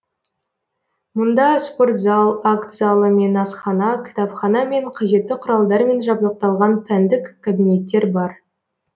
мұнда спорт зал акт залы мен асхана кітапхана мен қажетті құралдармен жабдықталған пәндік кабинеттер бар